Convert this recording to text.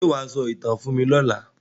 Ṣé wà á sọ ìtàn fún mí lọla?